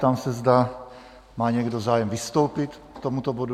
Ptám se, zda má někdo zájem vystoupit k tomuto bodu?